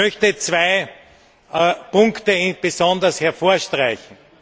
Ich möchte zwei Punkte besonders herausstreichen.